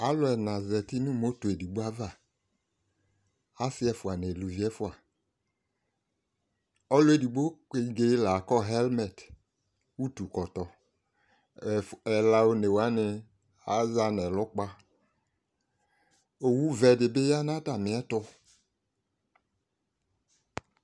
alò ɛna zati no moto edigbo ava asi ɛfua n'aluvi ɛfua ɔlò edigbo kenge la kɔ hɛlmɛt utu kɔtɔ ɛla one wani aza n'ɛlu kpa owu vɛ di bi ya n'atami ɛto